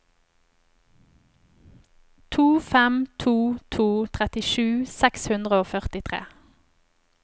to fem to to trettisju seks hundre og førtitre